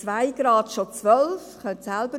Bei 2 Grad sind es also schon 12 Prozent.